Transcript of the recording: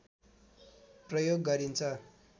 प्रयोग् गरिन्छ